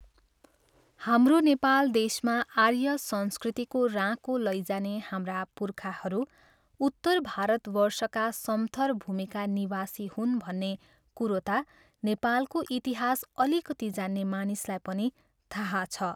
हाम्रो नेपाल देशमा आर्य संस्कृतिको राँको लैजाने हाम्रा पुर्खाहरू उत्तर भारतवर्षका समथर भूमिका निवासी हुन् भन्ने कुरो ता नेपालको इतिहास अलिकति जान्ने मानिसलाई पनि थाहा छ।